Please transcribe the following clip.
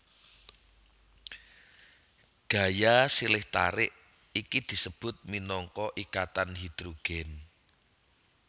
Gaya silih tarik iki disebut minangka ikatan hidrogen